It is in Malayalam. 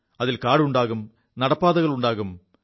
അതിൽ കാടുണ്ടാകും നടപ്പാതകളുണ്ടാകും